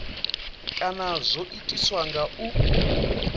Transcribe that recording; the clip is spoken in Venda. kana zwo itiswa nga u